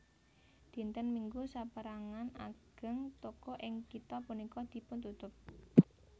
Dinten Minggu sapérangan ageng toko ing kitha punika dipuntutup